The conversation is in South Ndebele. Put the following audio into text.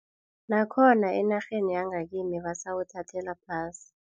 Bakhona enarheni yangakini basawuthathela phasi.